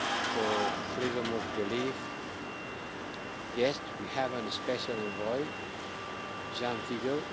for Freedom of Belief yes, we have a special envoy Ján Figeľ.